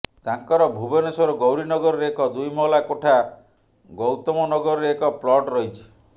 ତାଙ୍କର ଭୁବନେଶ୍ୱର ଗୌରୀନଗରରେ ଏକ ଦୁଇ ମହଲା କୋଠା ଗୌତମନଗରରେ ଏକ ପ୍ଲଟ୍ ରହିଛି